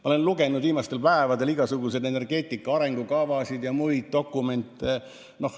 Ma olen lugenud viimastel päevadel igasuguseid energeetika arengukavasid ja muid dokumente.